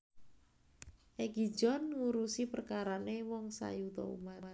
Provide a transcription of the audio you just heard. Egi John ngurusi perkarane wong sayuta umat